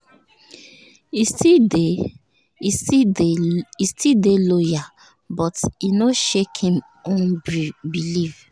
e still dey e still dey loyal but e no shake him own belief